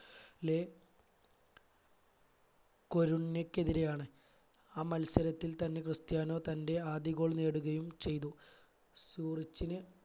ലെ കൊരുണികെതിരെയാണ് ആ മത്സരത്തിൽ തന്നെ ക്രിസ്ത്യാനോ തന്റെ ആദ്യ goal നേടുകയും ചെയ്തു സൂറിച്ചിന്